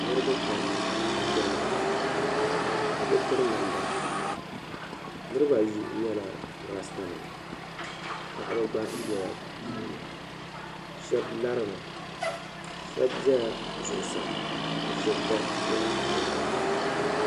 Niriba pam n diɛmda biɛ bi piri damda Niriba ayi nyɛla rasita nima paɣa ba gba be la bɛ puuni sheb larimi shɛb zala zuɣi saa ka shɛb gba dola tiŋa gbaŋ ni